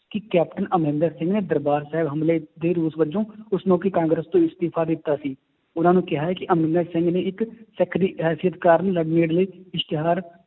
ਕਿ ਕੈਪਟਨ ਅਮਰਿੰਦਰ ਸਿੰਘ ਨੇ ਦਰਬਾਰ ਸਾਹਿਬ ਹਮਲੇ ਦੇ ਰੋਸ ਵਜੋਂ ਉਸ ਮੌਕੇ ਕਾਂਗਰਸ ਤੋਂ ਅਸਤੀਫ਼ਾ ਦਿੱਤਾ ਸੀ, ਉਹਨਾਂ ਨੂੰ ਕਿਹਾ ਹੈ ਕਿ ਅਮਰਿੰਦਰ ਸਿੰਘ ਨੇ ਇੱਕ ਸਿੱਖ ਦੀ ਅਹ ਇਸ਼ਤਿਹਾਰ